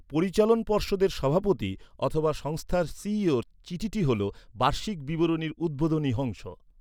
পরিচালন পর্ষদের সভাপতি অথবা সংস্থার সিইওর চিঠিটি হল বার্ষিক বিবরণীর উদ্বোধনী অংশ।